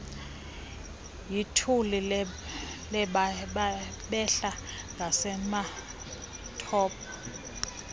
yituli behla ngasematopo